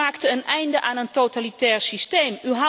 U maakte een einde aan een totalitair systeem.